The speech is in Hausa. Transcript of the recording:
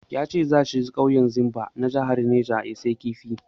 Ya ce za shi ƙauyen Zimba na jahar neja ya sayi kifi.